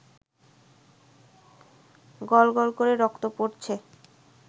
গল গল করে রক্ত পড়ছে